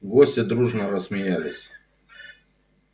гости дружно рассмеялись